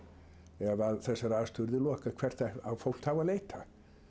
ef þessari aðstöðu yrði lokað hvert á fólk þá að leita